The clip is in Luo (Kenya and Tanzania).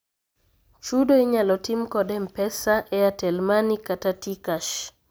Chudo inyalo tim kod m-pesa, airtel money kata T-kash.